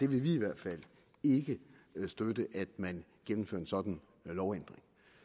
vil i hvert fald ikke støtte at man gennemfører en sådan lovændring